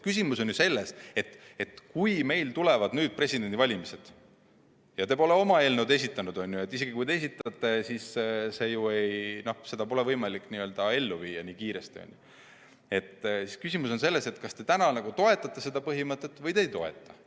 Küsimus on selles, et kui meil tulevad presidendivalimised ja te pole oma eelnõu esitanud – isegi kui esitate, siis pole seda võimalik nii kiiresti ellu viia –, siis kas te toetate seda põhimõtet või te ei toeta.